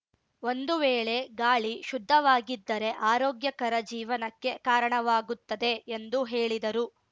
ಒಂದು ವೇಳೆ ಗಾಳಿ ಶುದ್ಧವಾಗಿದ್ದರೆ ಆರೋಗ್ಯಕರ ಜೀವನಕ್ಕೆ ಕಾರಣವಾಗುತ್ತದೆ ಎಂದು ಹೇಳಿದರು